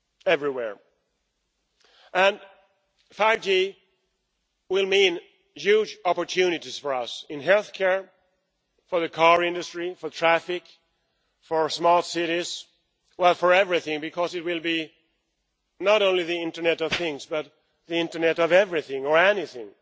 everywhere. And 5G will mean huge opportunities for us in healthcare, for the car industry, for traffic, for small cities, indeed for everything because it will be not only the internet of things but the internet of everything or anything.